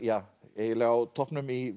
eiginlega á toppnum í